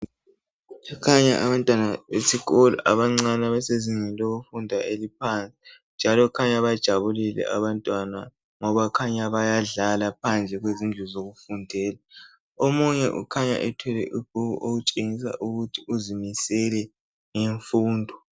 Kukhanya abantwana besikolo abancane. Abasezingeni lokufunda eliphansi, njalo kukhanya bajabulile abantwana, ngoba kukhanya bayadlala, phandle kwezindlu zokufundela. Omunye ukhanya ethwele ibhuku, okutshenyisa ukuthi uzimisele ngemfundo.